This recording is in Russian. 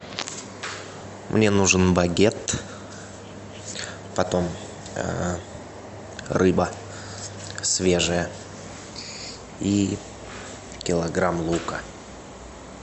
мне нужен багет потом рыба свежая и килограмм лука